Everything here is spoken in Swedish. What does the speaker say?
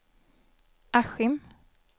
Askim